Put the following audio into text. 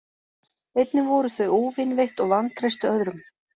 Einnig voru þau óvinveitt og vantreystu öðrum.